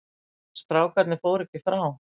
En strákarnir fóru ekki frá.